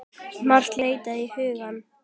Margt leitar á hugann.